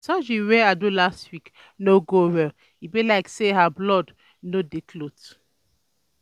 The surgery wey I do last week no go well e be like say her blood no dey clot.